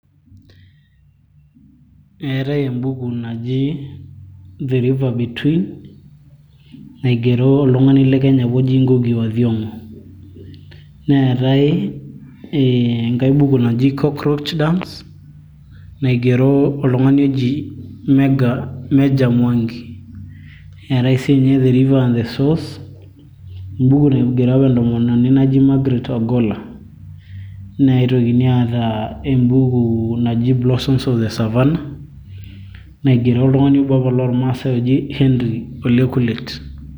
eetay embuku naji the river between naigero oltung'ani le kenya apa oji Ngugi wa thiong'o neetae enkae buku naji coakroach dance naigero oltung'ani oji Meja mwangi eetae siininye the river and the source embuku naigero apa entomononi naji Margaret ogolla neitokini aata embuku naji Blossoms of the savannah naigero oltung'ani obo apa lormaasay oji Henry ole kulet.